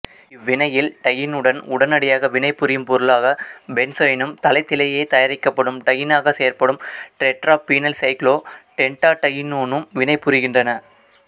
இவ்வினையில் டையீனுடன் உடனடியாக வினைபுரியும் பொருளாக பென்சைனும் தளத்திலேயே தயாரிக்கப்படும் டையீனாகச் செயற்படும் டெட்ராபீனைல்சைக்ளோபென்டாடையீனோனும் வினைபுரிகின்றன